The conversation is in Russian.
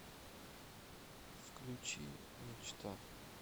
включи мечта